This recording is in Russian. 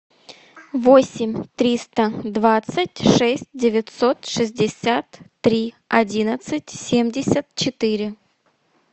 восемь триста двадцать шесть девятьсот шестьдесят три одиннадцать семьдесят четыре